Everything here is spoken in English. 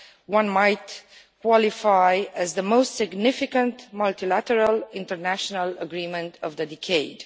one might qualify as the most significant multilateral international agreement of the decade.